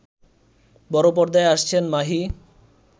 বড় পর্দায় আসছেন মাহি